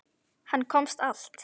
Hann komst allt.